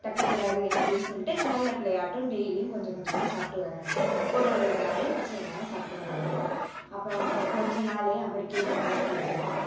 தட்டக்கூடாது அப்படீன்னு சொல்லிட்டு நல்ல பிள்ளையாட்டம் daily யும் கொஞ்சம் கொஞ்சமா சாப்பிட்டு வர்றாரு ஒரு ஒரு வெங்காயம் பச்சை வெங்காயம் சாப்பிட்டுட்டு வர்றாரு அப்போ அவங்க கொஞ்ச நாள்லேயே அவருக்கே difference தெரியுது